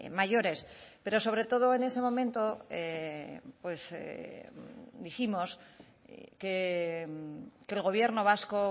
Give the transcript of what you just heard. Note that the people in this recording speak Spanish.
mayores pero sobre todo en ese momento pues dijimos que el gobierno vasco